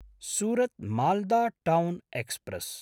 सुरत्–माल्दा town express